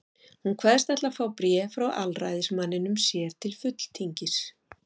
Hún kveðst ætla að fá bréf frá aðalræðismanninum sér til fulltingis.